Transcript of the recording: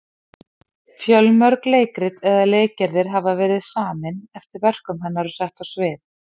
Fjölmörg leikrit eða leikgerðir hafa verið samin eftir verkum hennar og sett á svið.